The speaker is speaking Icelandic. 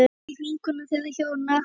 Einlæg vinkona þeirra hjóna.